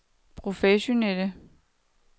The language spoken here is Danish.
professionelle